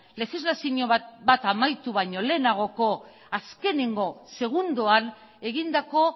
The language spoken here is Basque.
legislazio bat amaitu baino lehenagoko azkeneko segundoan egindako